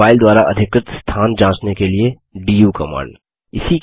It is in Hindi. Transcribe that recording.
एक फाइल द्वारा अधिकृत स्थान जाँचने के लिए डू कमांड